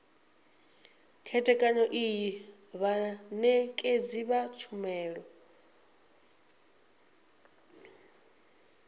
khethekanyo iyi vhanekedzi vha tshumelo